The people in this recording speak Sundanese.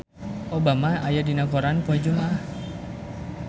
Obama aya dina koran poe Jumaah